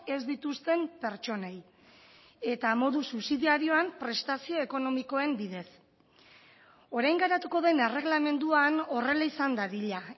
ez dituzten pertsonei eta modu subsidiarioan prestazio ekonomikoen bidez orain garatuko den erreglamenduan horrela izan dadila